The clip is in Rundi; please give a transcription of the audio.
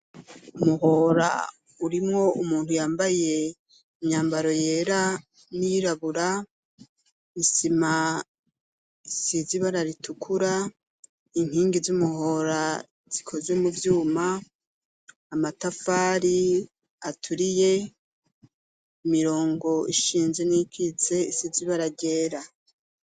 Umuhora urimwo umuntu yambaye imyambaro yera, n'iyirabura isima isize ibara ritukura, inkingi z'umuhora zikoze muvyuma amatafari aturiye, imirongo ishinze n'iyikitse isize ibara ryera.